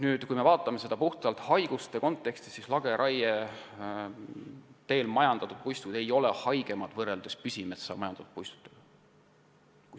Aga kui vaatame seda puhtalt haiguste kontekstis, siis näeme, et lageraie teel majandatud puistud ei ole sugugi haigemad võrreldes püsimetsa majandatud puistutega.